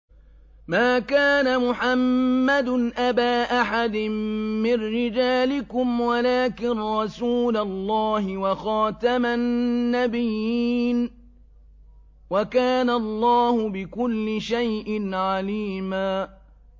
مَّا كَانَ مُحَمَّدٌ أَبَا أَحَدٍ مِّن رِّجَالِكُمْ وَلَٰكِن رَّسُولَ اللَّهِ وَخَاتَمَ النَّبِيِّينَ ۗ وَكَانَ اللَّهُ بِكُلِّ شَيْءٍ عَلِيمًا